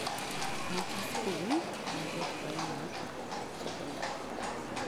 nyithi sikul majoprimar kod sekondar